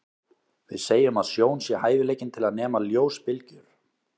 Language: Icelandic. Við segjum að sjón sé hæfileikinn til að nema ljósbylgjur.